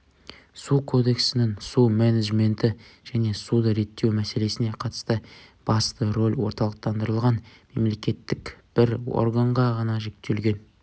су кодексінің су менеджменті және суды реттеу мселесіне қатысты басты роль орталықтандырылған мемлекеттік бір органға ғана жүктелген